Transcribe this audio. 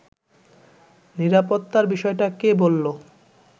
“নিরাপত্তার বিষয়টা কে বলল